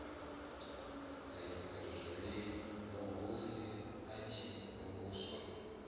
ri vhuhosi a si vhuswa